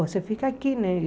Você fica aqui, né?